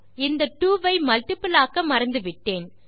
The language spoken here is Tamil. இந்த 2 ஐ மல்ட்டிபிள் ஆக்க மறந்துவிட்டோம்